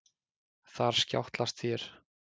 Þar skjátlast þér.